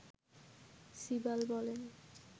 সিবাল বলেন